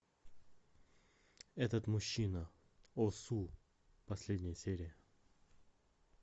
этот мужчина о су последняя серия